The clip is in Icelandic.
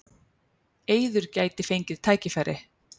Eiður gæti fengið tækifæri